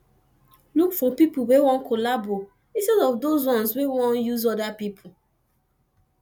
look for pipo wey wan collabo instead of those ones we wan use oda pipo